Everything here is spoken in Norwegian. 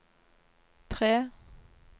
tre